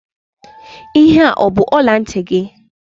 Ihe a ọ bụ ọla ntị gị?